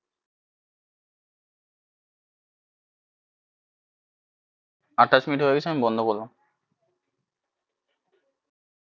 আঠাশ মিনিট হয়ে গেছে আমি বন্ধ করলাম।